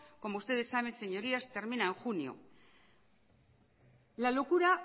como ustedes saben señorías termina en junio la locura